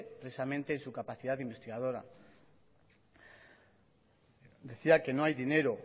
precisamente en su capacidad de investigadora decía que no hay dinero